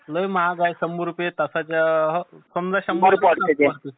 लै महाग हाय शंभर रुपये तासाच्या